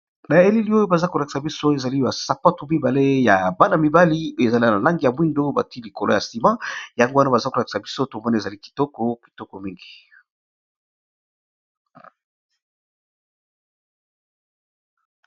Na elili oyo baza kolakisa biso ezali basapatu mibale ya bana-mibali ezali na langi ya mwindo batie likolo ya sima yango wana baza kolakisa biso tomoni ezali kitoko kitoko mingi.